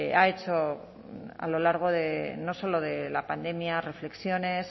ha hecho a lo largo de no solo de la pandemia reflexiones